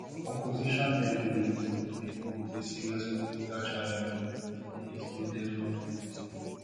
some opposition heavyweights wey bin pose a serious political challenge bin dey excluded from di race